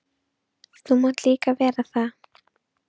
Þú mátt nú líka vera það.